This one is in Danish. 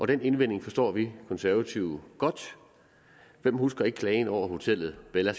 den indvending forstår vi konservative godt hvem husker ikke klagen over hotellet bella